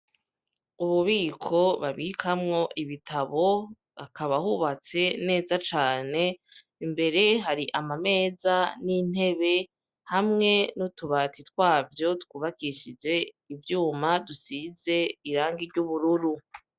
Ububiko babikamwo ibitabo, hakaba hubatse neza cane, imbere hari amameza n'intebe hamwe n'utubati twavyo twubakishije ivyuma, dusize irangi ry'ubururu.